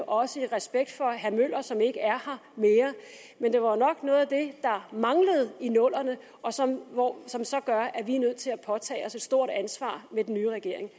også i respekt for herre møller som ikke er her mere men det var jo nok noget af det der manglede i nullerne og som og som så gør at vi er nødt til at påtage os et stort ansvar i den nye regering